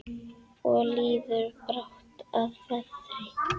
Og líður brátt að vetri.